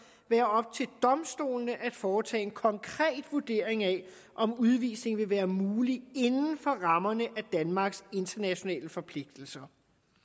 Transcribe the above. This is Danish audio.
være op til domstolene at foretage en konkret vurdering af om udvisning vil være mulig inden for rammerne af danmarks internationale forpligtelser